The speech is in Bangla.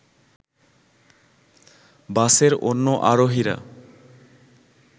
বাসের অন্য আরোহীরা